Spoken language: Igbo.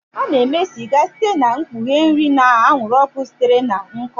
A na-eme sịga site n'ikpughe nri na anwụrụ ọkụ sitere na nkụ.